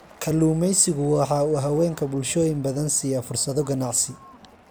Kalluumaysigu waxa uu haweenka bulshooyin badan siiya fursado ganacsi.